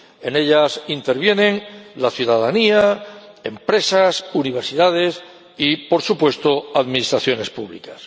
En ellas intervienen la ciudadanía, empresas, universidades y, por supuesto, administraciones públicas.